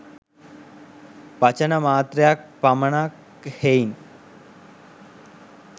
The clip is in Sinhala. වචන මාත්‍රයක් පමණක් හෙයිනි.